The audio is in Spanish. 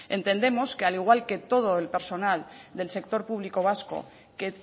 entendemos que al igual que todo el personal del sector público vasco que